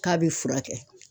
K'a be furakɛ